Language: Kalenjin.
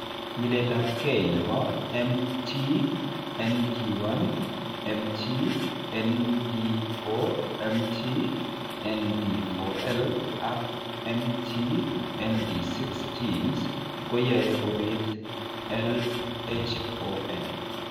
Nyiletabge nebo MT ND1, MT ND4, MT ND4L, ak MT ND6 genes koyae kobit LHON.